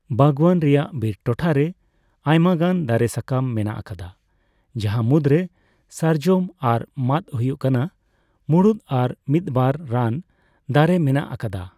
ᱵᱟᱜᱽᱣᱟᱱ ᱨᱮᱭᱟᱜ ᱵᱤᱨ ᱴᱚᱴᱷᱟᱨᱮ ᱟᱭᱢᱟᱜᱟᱱ ᱫᱟᱨᱮᱹᱥᱟᱠᱟᱢ ᱢᱮᱱᱟᱜ ᱟᱠᱟᱫᱟ ᱡᱟᱦᱟᱸ ᱢᱩᱫᱽᱨᱮ ᱥᱟᱨᱡᱚᱢ ᱟᱨ ᱢᱟᱺᱫ ᱦᱳᱭᱳᱜ ᱠᱟᱱᱟ ᱢᱩᱲᱩᱫ ᱟᱨ ᱢᱤᱫ ᱵᱟᱨ ᱨᱟᱱ ᱫᱟᱨᱮᱹ ᱢᱮᱱᱟᱜ ᱟᱠᱟᱫᱟ ᱾